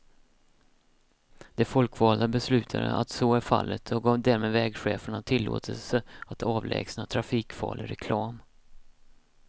De folkvalda beslutade att så är fallet och gav därmed vägcheferna tillåtelse att avlägsna trafikfarlig reklam.